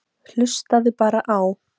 Hlustaðu bara á.